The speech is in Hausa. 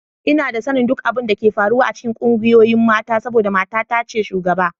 Ina da sanin duk abin da ke faruwa a cikin ƙungiyoyin mata saboda matana ce shugaba